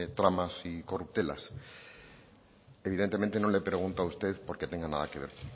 tramas y corruptelas evidentemente no le pregunto a usted porque tenga nada que ver